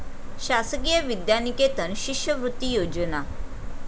शासकीय विद्यानिकेतन शिष्यवृत्ती योजना